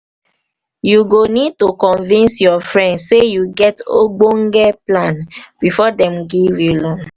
you go need to convince your friends sey you get ogbonge plan before dem give you loan